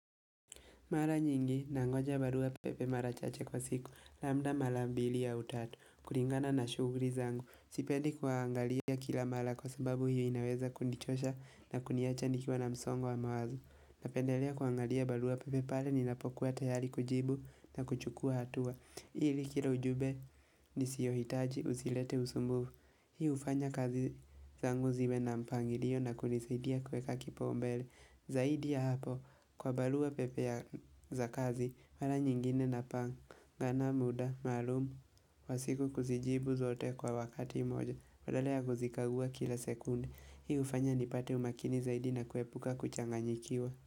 Mara nyingi nangoja barua pepe mara chache kwa siku. Labda mala mbili au tatu. Kuringana na shughuri zangu. Sipendi kuangalia kila mala kwa sababu hiyo inaweza kunichosha na kuniacha nikiwa na msongo wa mawazo Napendelea kuangalia barua pepe pale ninapokuwa tayari kujibu na kuchukua hatua. Ili kila ujube nisiyohitaji usilete usumbuvu. Hii hufanya kazi zangu ziwe na mpangilio na kunisaidia kuweka kipaumbele. Zaidi ya hapo, kwa balua pepe ya za kazi, mala nyingine napangana muda, maalumu, wa siku kuzijibu zote kwa wakati moja, badala ya kuzikagua kila sekunde, hii hufanya nipate umakini zaidi na kuepuka kuchanganyikiwa.